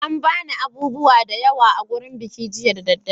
An ba ni abubuwa da yawa a gurin bikin jiya da daddare.